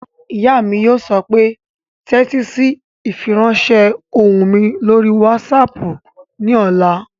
Ìyá mi yóò sọ pé "tẹ́tí sí ìfiránsẹ́ ohùn mi lórí wásaàpù ní ọ̀la!"